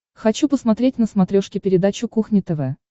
хочу посмотреть на смотрешке передачу кухня тв